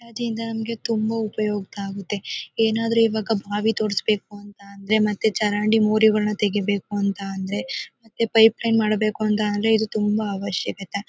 Hitachi ಯಿಂದ ನಮಗೆ ತುಂಬಾ ಉಪಯೋಗ ಆಗುತ್ತೆ. ಏನಾದರು ಇವಾಗ ಬಾವಿ ತೊಡಿಸಬೇಕು ಅಂತಂದ್ರೆ ಮತ್ತೆ ಚರಂಡಿ ಮೋರಿಗಳನ್ನ ತೆಗೀಬೇಕು ಅಂತ ಅಂದ್ರೆ ಮತ್ತೆ ಪೈಪ್ ಲೈನ್ ಮಾಡಬೇಕು ಅಂತ ಅಂದ್ರೆ ಇದು ತುಂಬಾ ಅವಶ್ಯಕ ಇದೆ.